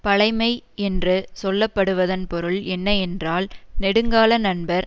பழைமை என்று சொல்லப்படுவதன் பொருள் என்ன என்றால் நெடுங்கால நண்பர்